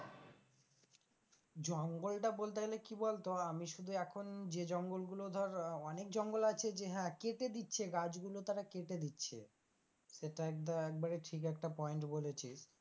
জঙ্গলটা বলতে গেলে কি বলতো? আমি শুধূ এখন যে জঙ্গলগুলো ধর অনেক জঙ্গল আছে যে হ্যাঁ কেটে দিচ্ছে গাছগুলো তারা কেটে দিচ্ছে সেটা একটা একবারে ঠিক একটা point বলেছিস,